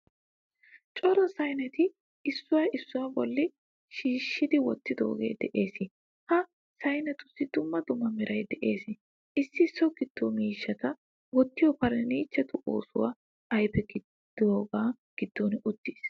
Cora saynetti issuwaa issuwaa bolli shibisidi wottidoge de'ees. Ha saynettusi dumma dumma meray de'ees. Issi so giddo miishshata wottiyo furnichcheretu oosuwaa ayfe gidaga giddon uttiis.